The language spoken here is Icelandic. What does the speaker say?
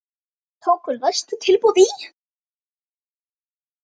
Tóku lægsta tilboði í.